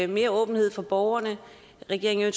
mere åbenhed for borgerne at regeringen